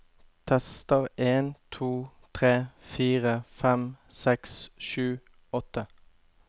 Tester en to tre fire fem seks sju åtte